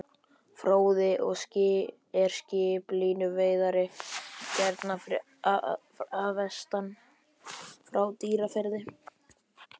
Fróði er skip, línuveiðari héðan að vestan, frá Dýrafirði.